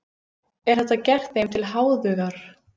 Er þetta gert þeim til háðungar?